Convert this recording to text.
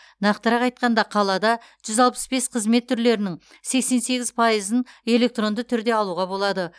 нақтырақ айтқанда қалада жүз алпыс бес қызмет түрлерінің сексен сегіз пайызын электронды түрде алуға болады